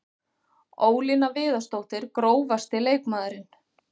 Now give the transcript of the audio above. Ólína Viðarsdóttir Grófasti leikmaðurinn?